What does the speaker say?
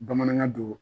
Bamanankan don